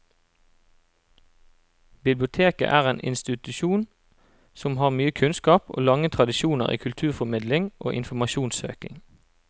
Biblioteket er en institusjon som har mye kunnskap og lange tradisjoner i kulturformidling og informasjonssøking.